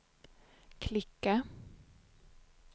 klicka